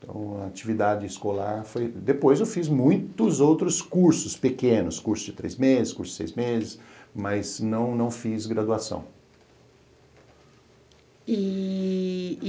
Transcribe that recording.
Então, a atividade escolar foi... Depois eu fiz muitos outros cursos pequenos, curso de três meses, curso de seis meses, mas não não fiz graduação. E